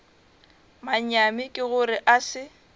manyami ke gore a se